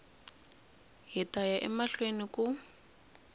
hi ta ya emahlweni ku